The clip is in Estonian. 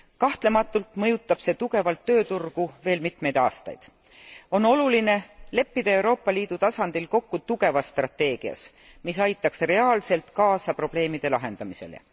Kahtlematult mõjutab see tugevalt tööturgu veel mitmeid aastaid. On oluline leppida Euroopa Liidu tasandil kokku tugevas strateegias, mis aitaks reaalselt kaasa probleemide lahendamisele.